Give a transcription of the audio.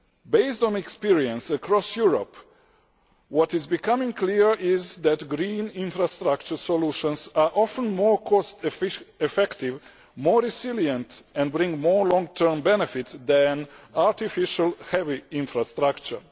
Based on experience across Europe, what is becoming clear is that green infrastructure solutions are often more cost effective, more resilient and bring more long term benefits than artificial, heavy infrastructure.